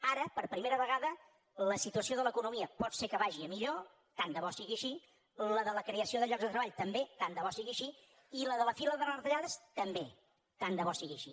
ara per primera vegada la situació de l’economia pot ser que vagi a millor tant de bo sigui així la de la creació de llocs de treball també tant de bo sigui així i la de la fi de les retallades també tant de bo sigui així